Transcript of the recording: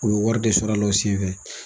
U bi wari de sɔrɔ a la o senfɛ.